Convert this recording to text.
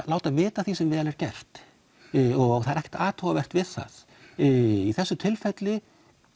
láta vita af því sem vel er gert og það er ekkert athugavert við það í þessu tilfelli